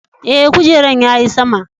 Eh, kujeran ya yi sama.